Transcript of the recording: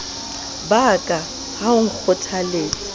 ba ka ha o nkgothaletsa